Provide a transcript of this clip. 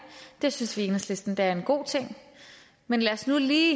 det synes vi i enhedslisten er en god ting men lad os nu lige